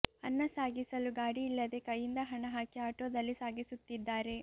ಅನ್ನ ಸಾಗಿಸಲು ಗಾಡಿ ಇಲ್ಲದೆ ಕೈಯಿಂದ ಹಣ ಹಾಕಿ ಆಟೋದಲ್ಲಿ ಸಾಗಿಸುತ್ತಿದ್ದಾರೆ